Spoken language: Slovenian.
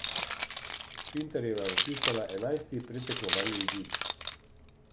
Pintarjeva je vpisala enajsti predtekmovalni izid.